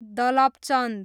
Dalapchand